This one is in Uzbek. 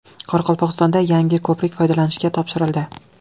Qoraqalpog‘istonda yangi ko‘prik foydalanishga topshirildi.